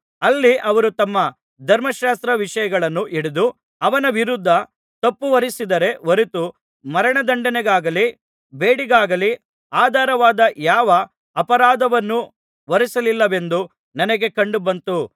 ಅಲ್ಲಿ ಅವರು ತಮ್ಮ ಧರ್ಮಶಾಸ್ತ್ರ ವಿಷಯಗಳನ್ನು ಹಿಡಿದು ಅವನ ವಿರುದ್ಧ ತಪ್ಪು ಹೊರಿಸಿದರೇ ಹೊರತು ಮರಣ ದಂಡನೆಗಾಗಲಿ ಬೇಡಿಗಾಗಲಿ ಆಧಾರವಾದ ಯಾವ ಅಪರಾಧವನ್ನೂ ಹೊರಿಸಲಿಲ್ಲವೆಂದು ನನಗೆ ಕಂಡುಬಂತು